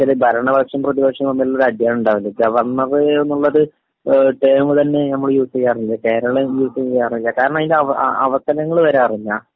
സാധാരണ എങ്ങനാ നു വച്ചാല് ഭരണപക്ഷവും പ്രതിപക്ഷവും തമ്മിലുള്ള ഒര് അടിയാണുണ്ടാവല്, ഗവർണർ എന്നുള്ളത് ടേമുതന്നെ നമ്മള് യൂസ് ചെയ്യാറില്ല.കേരളം യൂസ് ചെയ്യാറില്ല.കാരണം അതിന്റെ അവസരങ്ങള് വരാറില്ല.